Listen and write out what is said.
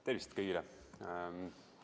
Tervist kõigile!